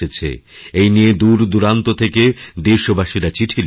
এই নিয়ে দূরদূরান্ত থেকে দেশবাসীরা চিঠি লিখেছেন